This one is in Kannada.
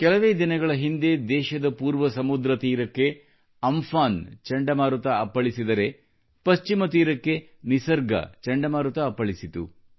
ಕೆಲವೇ ದಿನಗಳ ಹಿಂದೆ ದೇಶದ ಪೂರ್ವ ಸಮುದ್ರ ತೀರಕ್ಕೆ ಅಮ್ಫಾನ್ ಚಂಡಮಾರುತ ಅಪ್ಪಳಿಸಿದರೆ ಪಶ್ಚಿಮ ತೀರಕ್ಕೆ ನಿಸರ್ಗ ಚಂಡಮಾರುತ ಅಪ್ಪಳಿಸಿತು